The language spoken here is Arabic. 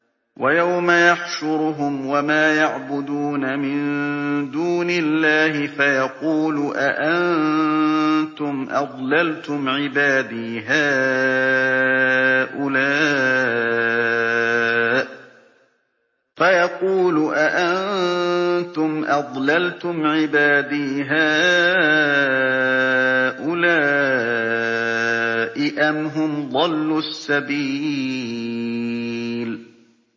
وَيَوْمَ يَحْشُرُهُمْ وَمَا يَعْبُدُونَ مِن دُونِ اللَّهِ فَيَقُولُ أَأَنتُمْ أَضْلَلْتُمْ عِبَادِي هَٰؤُلَاءِ أَمْ هُمْ ضَلُّوا السَّبِيلَ